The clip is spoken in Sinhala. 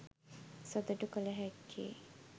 සතුටු කළ හැක්කේ